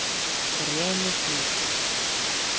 Grenihlíð